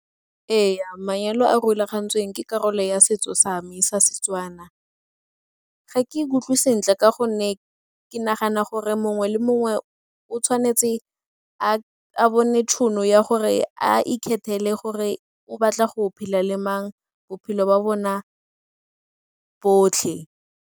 Ee, manyalo a a rulagantsweng ke karolo ya setso sa me sa Setswana. Ga ke ikutlwe sentle ka gonne ke nagana gore mongwe le mongwe o tshwanetse a a bone tšhono ya gore a ikgethela gore o batla go phela le mang bophelo ba bona botlhe.